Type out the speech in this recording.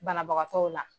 Banabagatɔw la